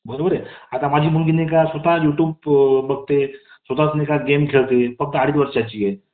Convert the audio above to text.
कितीही आपलं आपल्याला वेदना झाल्या तरी आपल्याला pain cure घ्यायचं काम पडत नाही आम्हाला ती एखाद्या pain cure सारखे काम करते आणि ती जेव्हा मला माझ्या बालपणीच्या गोष्टी सांगते ना